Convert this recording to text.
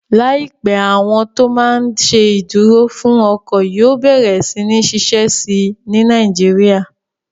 Láìpẹ́, àwọn tó máa n ṣe ìdúró fún ọkọ̀ yóò bẹ̀rẹ̀ sí ní ṣiṣẹ́ síi ní Nàìjíríyà